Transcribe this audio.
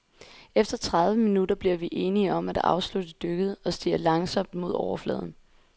Efter tredive minutter bliver vi enige om et afslutte dykket og stiger langsomt mod overfladen.